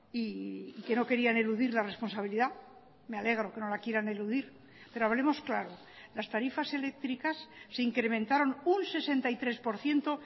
y que no querían eludir la responsabilidad me alegro que no la quieran eludir pero hablemos claro las tarifas eléctricas se incrementaron un sesenta y tres por ciento